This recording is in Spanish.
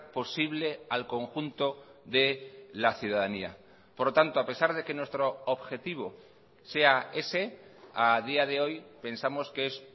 posible al conjunto de la ciudadanía por lo tanto a pesar de que nuestro objetivo sea ese a día de hoy pensamos que es